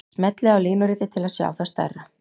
Smellið á línuritið til að sjá það stærra.